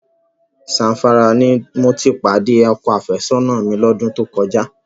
Zamfara ni mo ti pàdé ọkọ àfẹ́sọ́nà mi lọ́dún tó kọjá.